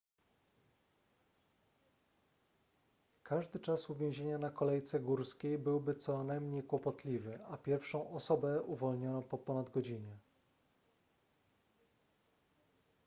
każdy czas uwięzienia na kolejce górskiej byłby co najmniej kłopotliwy a pierwszą osobę uwolniono po ponad godzinie